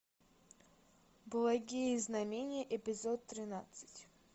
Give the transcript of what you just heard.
благие знамения эпизод тринадцать